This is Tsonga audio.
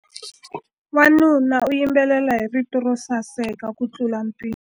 Wanuna u yimbelela hi rito ro saseka kutlula mpimo.